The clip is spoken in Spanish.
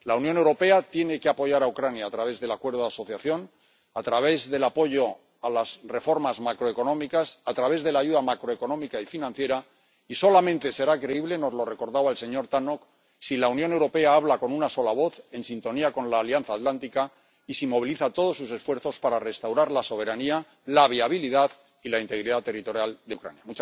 La Unión Europea tiene que apoyar a Ucrania a través del Acuerdo de Asociación, a través del apoyo a las reformas macroeconómicas, a través de la ayuda macroeconómica y financiera, y solamente será creíble ―nos lo recordaba el señor Tannock― si la Unión Europea habla con una sola voz en sintonía con la Alianza Atlántica, y si moviliza todos sus esfuerzos para restaurar la soberanía, la viabilidad y la integridad territorial de Ucrania.